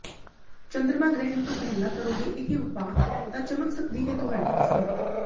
ਚੰਦਰਮਾ ਗ੍ਰਹਿਣ ਤੋਂ ਪਹਿਲਾ ਕਰੋਗੇ ਇਹ ਉਪਾਅ ਤਾਂ ਚਮਕ ਸਕਦੀ ਹੈ ਤੁਹਾਡੀ ਕਿਸਮਤ